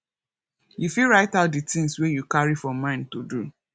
you fit write out di things wey you carry for mind to do